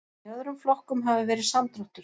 Í öðrum flokkum hafi verið samdráttur